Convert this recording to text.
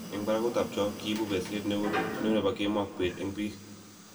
eng' barakutab cho, kiibu besiet neu nebo kemou ak beet eng' biik